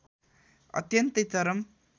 अत्यन्तै चरम